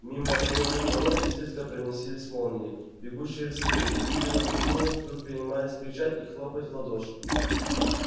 мимо отворённых ворот изредка проносились молнией бегущие рысаки люди на трибунах вдруг принимались кричать и хлопать в ладоши